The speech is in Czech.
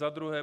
Za druhé.